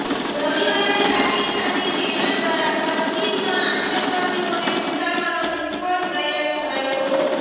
રવિવારે પાકિસ્તાની સેના દ્વારા કાશ્મીરમાં આતંકવાદીઓને ઘુસાડવાનો નિષ્ફળ પ્રયાસ કરાયો હતો